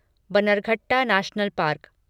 Bannerghatta national park